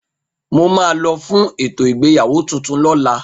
Mo máa lo fún ètò ìgbéyàwó tuntun lóla